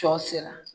Sɔ sera